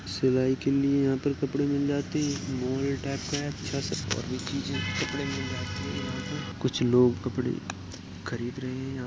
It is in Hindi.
सिलाई के लिए यहां पर कपड़े मिल जाते हैं एक मॉल टाइप का है अच्छा सा सारी चीजे कपड़े मिल जाते हैं यहाँ पर कुछ लोग कपड़े खरीद रहे हैं यहां पर।